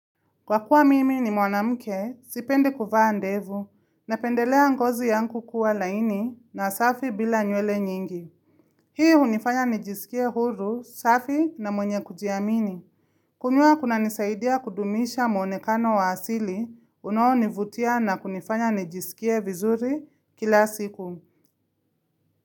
Kwa kuwa mimi ni mwanamke, sipende kuvaa ndevu, na pendelea ngozi yangu kuwa laini na safi bila nywele nyingi. Hii hunifanya nijisikie huru safi na mwenye kujiamini. Kunyoa kuna nisaidia kudumisha mwonekano wa asili, unoonivutia na kunifanya nijisikie vizuri kila siku.